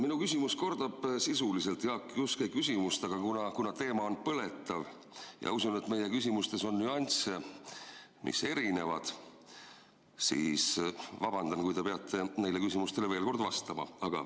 Minu küsimus kordab sisuliselt Jaak Juske küsimust, aga kuna teema on põletav ja usun, et meie küsimustes on nüansse, mis erinevad, siis vabandan, kui te peate neile küsimustele veel kord vastama.